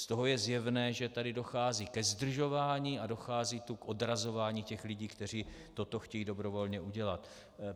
Z toho je zjevné, že tady dochází ke zdržování a dochází tu k odrazování těch lidí, kteří toto chtějí dobrovolně udělat.